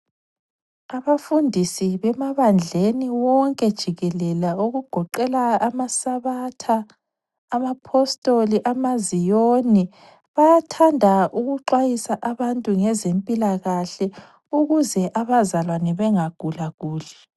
Abafundisi bemabandleni wonke jikelele, okugoqela amasabatha, amapostoli ama ziyoni . Bayathanda ukuxwayisa abantu ngezempilakahle ukuze abazalwane bengagulaguli.